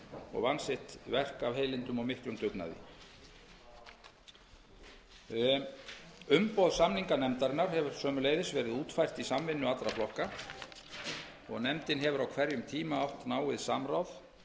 og vann sitt verk af heilindum og miklum dugnaði umboð samninganefndarinnar hefur sömuleiðis verið útfært í samvinnu allra flokka og nefndin hefur á hverjum tíma átt náið samráð